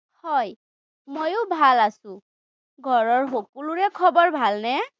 হয়, ময়ো ভাল আছো। ঘৰৰ সকলোৰে খবৰ ভালনে?